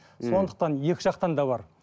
сондықтан екі жақтан да бар